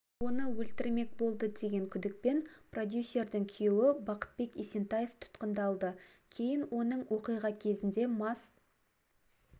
оны өлтірмек болды деген күдікпен продюсердің күйеуі бақытбек есентаев тұтқындылды кейін оның оқиға кезінде мас